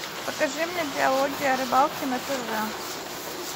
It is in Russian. покажи мне диалоги о рыбалке на тв